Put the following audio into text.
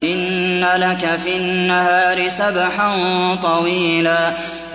إِنَّ لَكَ فِي النَّهَارِ سَبْحًا طَوِيلًا